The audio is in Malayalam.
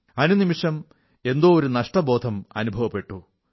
അനുനിമിഷം എന്തോ ഒരു നഷ്ടബോധം അനുഭവപ്പെട്ടു